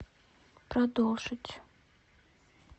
продолжить